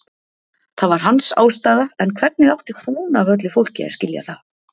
Það var hans ástæða en hvernig átti hún af öllu fólki að skilja það?